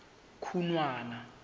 khunwana